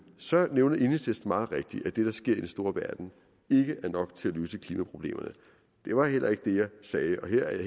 så nævner enhedslisten meget rigtigt at det der sker i den store verden ikke er nok til at løse klimaproblemerne det var heller ikke det jeg sagde jeg er